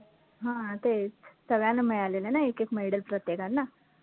हा तेच सगळ्यांना मिळालेलं ना एक एक medal प्रत्येकांना